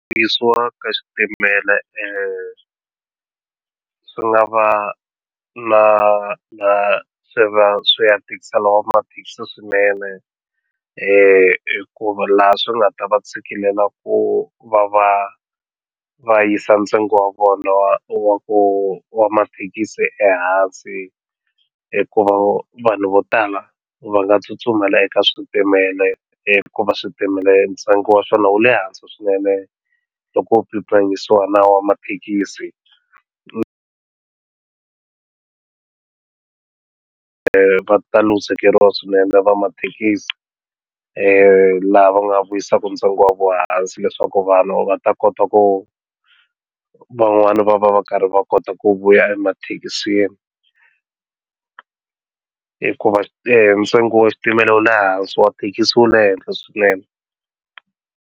Ku ka xitimela swi nga va na na swi va swi ya tikisela va mathekisi swinene hikuva laha swi nga ta va tshikilela ku va va va yisa ntsengo wa vona wa wa ku wa mathekisi ehansi hikuva vanhu vo tala va nga tsutsumela eka switimela hikuva switimela ntsengo wa swona wu le hansi swinene loko ku pimanisiwa na wa mathekisi va ta luzekeriwa swinene va mathekisi laha va nga vuyisaka ntsengo wa vo hansi leswaku vanhu va ta kota ku wu van'wani va va va karhi va kota ku vuya emathekisini hikuva ntsengo wa xitimela wu le hansi wa thekisi wu le henhla swinene.